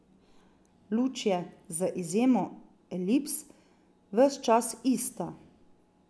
Luč je, z izjemo elips, ves čas ista.